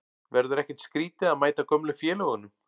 Verður ekkert skrítið að mæta gömlu félögunum?